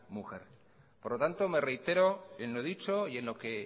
mujer por lo tanto me reitero en lo dicho y en lo que